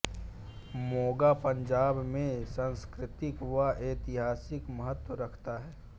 मोगा पंजाब में सांस्कृतिक व ऐतिहासिक महत्व रखता है